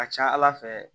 A ka ca ala fɛ